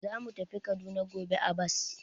Za mu tafi Kaduna gobe a bas.